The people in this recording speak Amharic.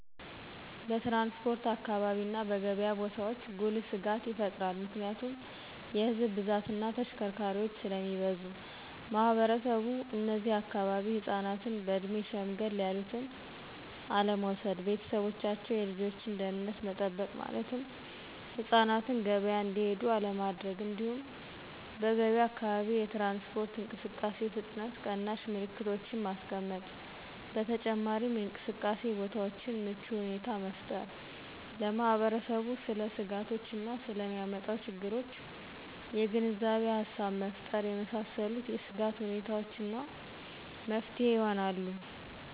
በትራንስፖርት አካባቢ እና በገብያ ቦታዎች ጉልህ ስጋት ይፈጥራል ምክንያቱም የህዝብ ብዛት እና ተሽከርካሪዎች ስለሚበዙ። ማህበረሰቡ እነዚህ አካባቢ ህፃናትን በእድሜ ሸምገል ያሉትን አለመውሰድ። ቤተሰቦቻቸው የልጆችን ደህንነት መጠበቅ ማለትም ህፃናትን ገበያ እንዲሄዱ አለማድረግ። እንዲሁም በገብያ አካባቢ የትራንስፖርት እንቅስቃሴ ፍጥነት ቀናሽ ምልክቶችን ማስቀመጥ። በተጨማሪም የእንቅስቃሴ ቦታዎችን ምቹ ሁኔታን መፍጠር። ለማህበረሰቡ ስለ ስጋቶች እና ስለ ሚያመጣው ችግሮች የግንዛቤ ሃሳብ መፍጠር የመሳሰሉት የስጋት ሁኔታዎች እና መፍትሄ ይሆናሉ።